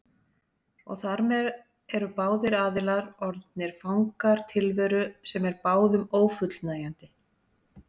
Og þar með eru báðir aðilar orðnir fangar tilveru sem er báðum ófullnægjandi.